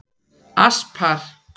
Aspar